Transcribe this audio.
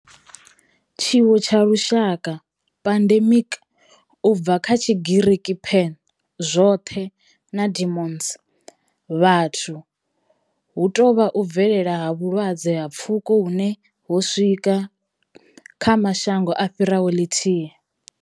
Tshiwo tsha lushaka pandemic, u bva kha Tshigiriki pan, zwothe na demos, vhathu, hu tou vha u bvelela ha vhulwadze ha pfuko hune ho swika kha mashango a fhiraho lithihi.